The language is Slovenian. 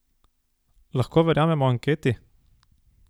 Lahko verjamemo anketi?